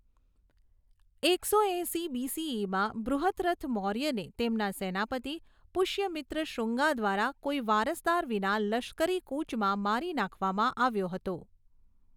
એકસો એંશી બીસીઈમાં, બૃહદ્રથ મૌર્યને તેમના સેનાપતિ, પુષ્યમિત્ર શુંગા દ્વારા કોઈ વારસદાર વિના લશ્કરી કૂચમાં મારી નાખવામાં આવ્યો હતો.